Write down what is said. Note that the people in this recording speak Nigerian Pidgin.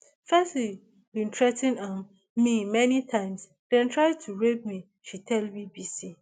fesci bin threa ten um me many times dem try to rape me she tell bbc